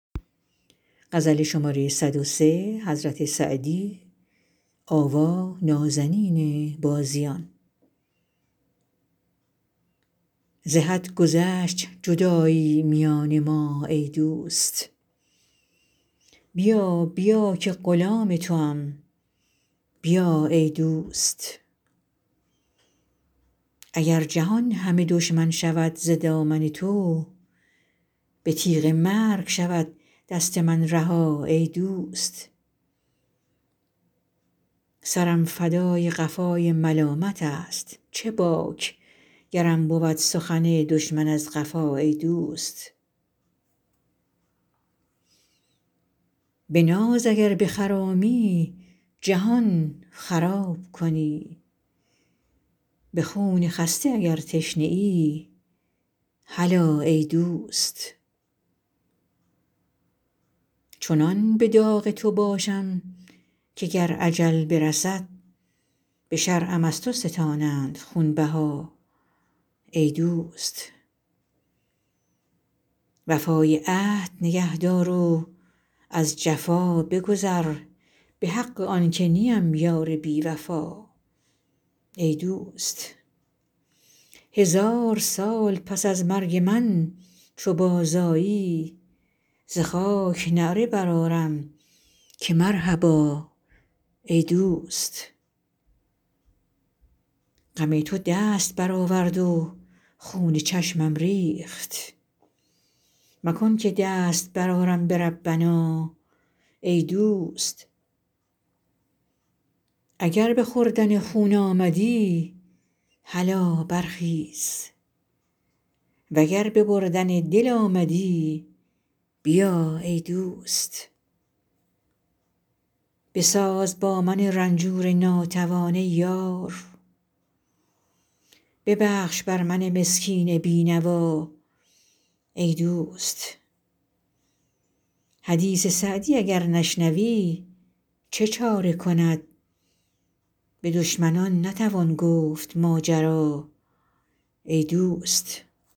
ز حد گذشت جدایی میان ما ای دوست بیا بیا که غلام توام بیا ای دوست اگر جهان همه دشمن شود ز دامن تو به تیغ مرگ شود دست من رها ای دوست سرم فدای قفای ملامتست چه باک گرم بود سخن دشمن از قفا ای دوست به ناز اگر بخرامی جهان خراب کنی به خون خسته اگر تشنه ای هلا ای دوست چنان به داغ تو باشم که گر اجل برسد به شرعم از تو ستانند خونبها ای دوست وفای عهد نگه دار و از جفا بگذر به حق آن که نیم یار بی وفا ای دوست هزار سال پس از مرگ من چو بازآیی ز خاک نعره برآرم که مرحبا ای دوست غم تو دست برآورد و خون چشمم ریخت مکن که دست برآرم به ربنا ای دوست اگر به خوردن خون آمدی هلا برخیز و گر به بردن دل آمدی بیا ای دوست بساز با من رنجور ناتوان ای یار ببخش بر من مسکین بی نوا ای دوست حدیث سعدی اگر نشنوی چه چاره کند به دشمنان نتوان گفت ماجرا ای دوست